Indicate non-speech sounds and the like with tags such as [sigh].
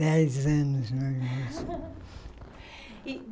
Dez anos, meu irmão. [laughs] E